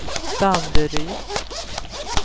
Danderyd